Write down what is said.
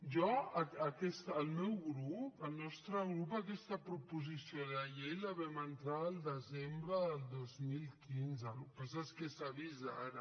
jo el meu grup el nostre grup aquesta proposició de llei la vam entrar el desembre del dos mil quinze el que passa és que s’ha vist ara